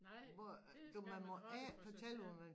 Nej det skal man holde for sig selv